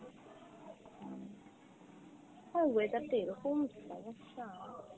হ্যাঁ weather টা এরকম সমস্যা।